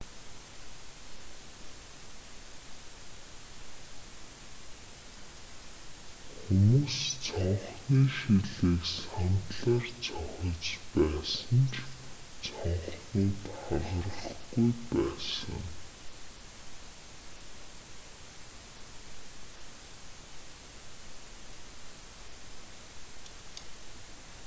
хүмүүс цонхны шилийг сандлаар цохиж байсан ч цонхнууд хагарахгүй байсан